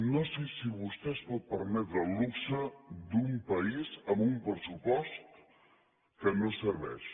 no sé si vostè es pot permetre el luxe d’un país amb un pressupost que no serveix